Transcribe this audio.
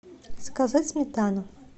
заказать сметану